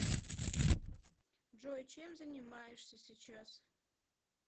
джой чем занимаешься сейчас